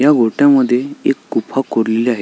या गोट्या मध्ये एक गुफा कोरलेली हाय--